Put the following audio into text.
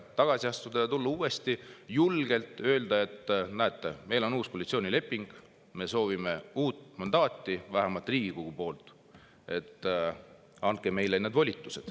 julgelt öelda: "Näete, meil on uus koalitsioonileping, me soovime uut mandaati, vähemalt Riigikogu poolt, andke meile need volitused.